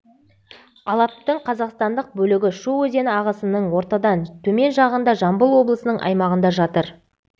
алаптың қазақстандық бөлігі шу өзені ағысының ортадан төмен жағында жамбыл облысының аймағында жатыр